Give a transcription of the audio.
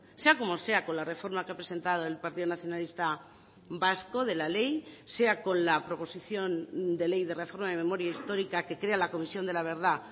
sea como sea con la reforma que ha presentado el partido nacionalista vasco de la ley sea con la proposición de ley de reforma de memoria histórica que crea la comisión de la verdad